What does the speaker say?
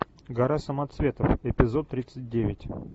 гора самоцветов эпизод тридцать девять